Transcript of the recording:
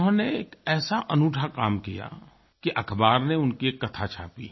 उन्होंने एक ऐसा अनूठा काम किया कि अखबार ने उनकी एक कथा छापी